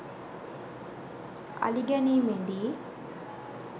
අලි ගැනීමේ දී